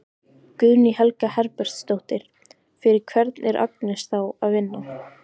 Guðný Helga Herbertsdóttir: Fyrir hvern er Agnes þá að vinna?